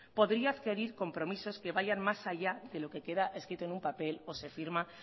podría adquirir compromisos que vayan más allá de lo que queda escrito en un papel o se firma